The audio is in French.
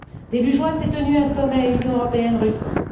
Début juin, s'est tenu un sommet Union européenne Russie.